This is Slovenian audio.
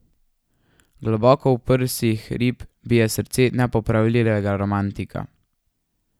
Globoko v prsih rib bije srce nepopravljivega romantika.